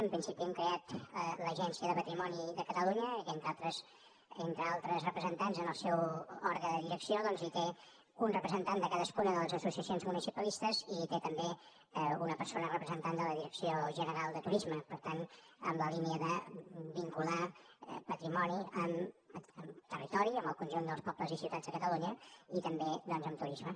en principi hem creat l’agència del patrimoni de catalunya que entre altres representants en el seu òrgan de direcció doncs hi té un representant de cadascuna de les associacions municipalistes i hi té també una persona representant de la direcció general de turisme per tant en la línia de vincular patrimoni amb territori amb el conjunt dels pobles i ciutats de catalunya i també doncs amb turisme